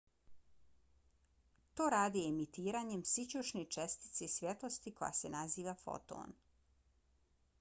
to rade emitiranjem sićušne čestice svjetlosti koja se naziva foton